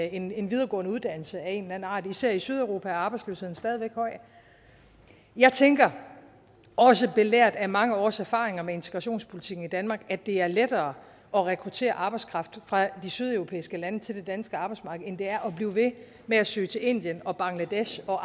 en en videregående uddannelse af en eller anden art især i sydeuropa er arbejdsløsheden stadig væk høj jeg tænker også belært af mange års erfaringer med integrationspolitikken i danmark at det er lettere at rekruttere arbejdskraft fra de sydeuropæiske lande til det danske arbejdsmarked end det er at blive ved med at søge til indien og bangladesh for